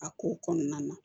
A ko kɔnɔna na